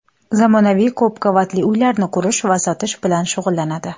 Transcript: Zamonaviy ko‘p qavatli uylarni qurish va sotish bilan shug‘ullanadi!